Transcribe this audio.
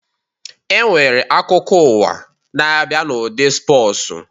E nwere akụkọ ụwa na-abịa n'ụdị spọsu